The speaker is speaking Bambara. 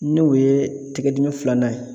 N'u ye tigɛdimi filanan ye.